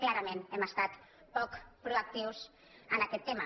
clarament hem estat poc proactius en aquest tema